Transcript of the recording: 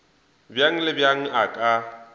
bjang le bjang a ka